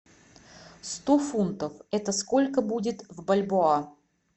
сто фунтов это сколько будет в бальбоа